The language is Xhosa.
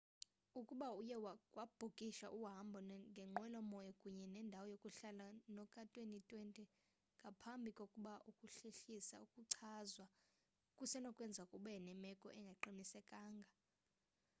ukuba uye wabhukisha uhambo ngenqwelo moya kunye nendawo yokuhlala noka-2020 ngaphambi kokuba ukuhlehliswa kuchazwa kusenokwenzeka ube nemeko engaqinisekanga